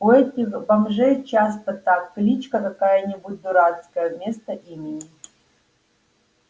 у этих бомжей часто так кличка какая-нибудь дурацкая вместо имени